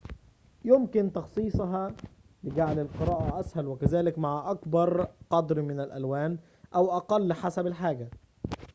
يمكن تخصيصها لجعل القراءة أسهل وكذلك مع أكبر قدر من الألوان أو أقل حسب الحاجة